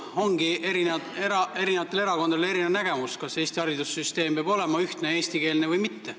Ongi eri erakondadel erinev nägemus, kas Eesti haridussüsteem peab olema ühtne eestikeelne või mitte.